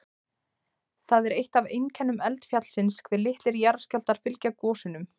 Það er eitt af einkennum eldfjallsins hve litlir jarðskjálftar fylgja gosunum.